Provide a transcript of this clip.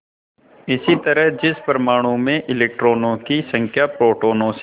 इसी तरह जिस परमाणु में इलेक्ट्रॉनों की संख्या प्रोटोनों से